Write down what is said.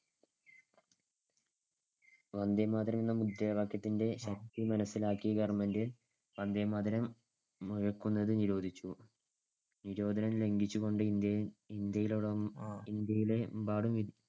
വന്ദേമാതരം എന്ന മുദ്രാവാക്യത്തിന്‍ടെ ശക്തി മനസ്സിലാക്കി government വന്ദേമാതരം മുഴക്കുന്നത് നിരോധിച്ചു. നിരോധനം ലംഘിച്ചുകൊണ്ട് ഇന്ത്യ~ ഇന്ത്യയിലെ~ ഇന്ത്യയിലെമ്പാടും